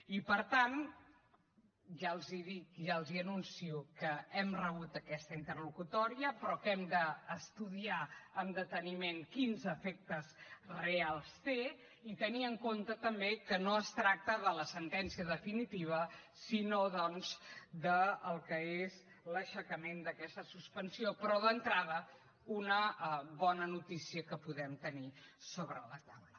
i per tant ja els ho dic ja els anuncio que hem rebut aquesta interlocutòria però que hem d’estudiar amb deteniment quins efectes reals té i tenir en compte també que no es tracta de la sentència definitiva sinó doncs del que és l’aixecament d’aquesta suspensió però d’entrada una bona notícia que podem tenir sobre la taula